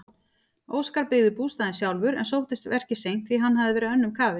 Óskar byggði bústaðinn sjálfur en sóttist verkið seint því hann hafði verið önnum kafinn.